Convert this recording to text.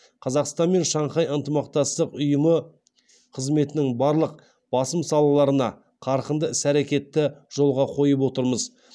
қазақстанмен шанхай ынтымақтастық ұйымы қызметінің барлық басым салаларында қарқынды іс әрекетті жолға қойып отырмыз